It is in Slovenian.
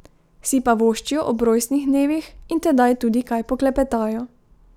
Si pa voščijo ob rojstnih dnevih in tedaj tudi kaj poklepetajo.